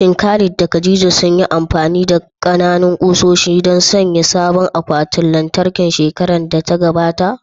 Shin Khalid da khadia sunyi amfani da ƙananan ƙusoshi don sanya sabon akwatin lantarki shekarar da ta gabata?